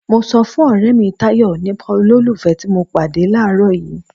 Mo sọ fún ọrẹ mi Tayọ nípa olólùfẹ́ ti mo pàdé làárọ̀ yìí.